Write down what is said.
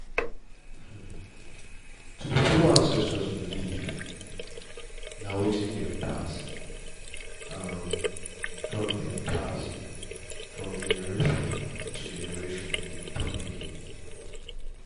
to dey follow ancestors belief na wetin dem pass from dem pass from generations to generation with deep meaning